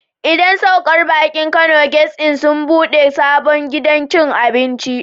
Idan saukar baki Kano guest Inn sun ɓude sabon gidan cin abinci.